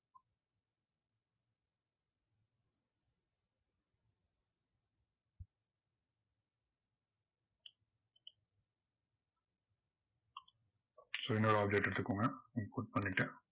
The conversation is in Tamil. so இன்னொரு object எடுத்துக்கோங்க input பண்ணிட்டேன்.